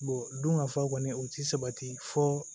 don ka fa kɔni u ti sabati fɔ